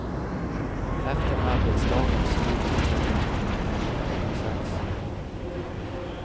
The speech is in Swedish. Efter arbetsdagens slut försöker han hinna hem till klockan sex.